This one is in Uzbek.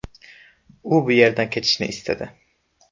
U bu yerdan ketishni istadi.